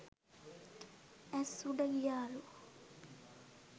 ඈස් උඩ ගියාලු.